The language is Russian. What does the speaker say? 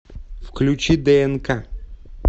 включи днк